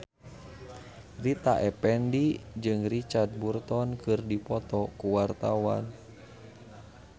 Rita Effendy jeung Richard Burton keur dipoto ku wartawan